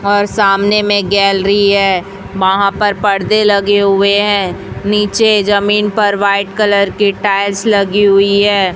और सामने में गैलरी है वहां पर पर्दे लगे हुए हैं नीचे जमीन पर वाइट कलर के टाइल्स लगी हुई है।